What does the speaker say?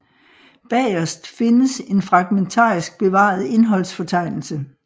Bagerst findes en fragmentarisk bevaret indholdsfortegnelse